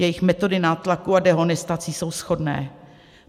Jejich metody nátlaku a dehonestací jsou shodné.